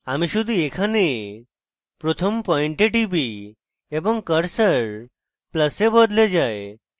আমি শুধু এখানে প্রথম পয়েন্টে টিপি এবং cursor প্লাসে বদলে যায়